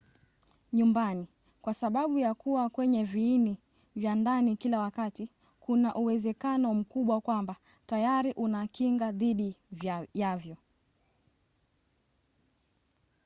nyumbani kwa sababu ya kuwa kwenye viini vya ndani kila wakati kuna uwezekano mkubwa kwamba tayari una kinga dhidi yavyo